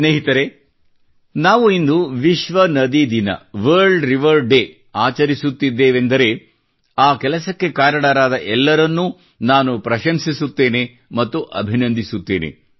ಸ್ನೇಹಿತರೇ ನಾವು ಇಂದು ವಿಶ್ವ ನದಿ ದಿನ ವಲ್ರ್ಡ್ ರಿವರ್ ಡೇ ಆಚರಿಸುತ್ತಿದ್ದೇವೆಂದರೆ ಆ ಕೆಲಸಕ್ಕೆ ಕಾರಣರಾದ ಎಲ್ಲರನ್ನೂ ನಾನು ಪ್ರಶಂಸಿಸುತ್ತೇನೆ ಮತ್ತು ಅಭಿನಂದಿಸುತ್ತೇನೆ